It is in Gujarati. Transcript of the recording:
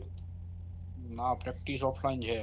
ના Practice offline છે